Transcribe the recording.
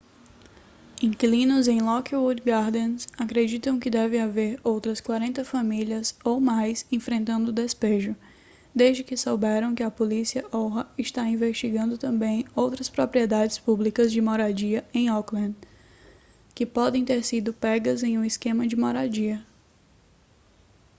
inquilinos em lockwood gardens acreditam que devem haver outras 40 famílias ou mais enfrentando despejo desde que souberam que a polícia oha está investigando também outras propriedades públicas de moradia em oakland que podem ter sido pegas em um esquema de moradia